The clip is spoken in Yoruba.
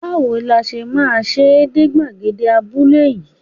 Báwo la ti máa ṣe dé gbàgede abúlé yín?